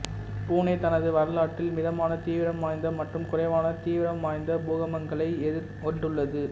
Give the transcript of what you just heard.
புனே தனது வரலாற்றில் மிதமான தீவிரம் வாய்ந்த மற்றும் குறைவான தீவிரம்வாய்ந்த பூகம்பங்களை எதிர்கொண்டுள்ளது